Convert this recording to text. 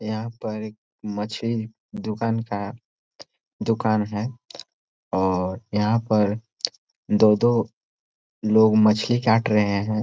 यहाँ पर एक मछली दुकान का दुकान है और यहाँ पर दो-दो लोग मछली काट रहे है।